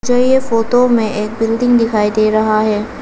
हमें ये फोटो में एक बिल्डिंग दिखाई दे रहा है।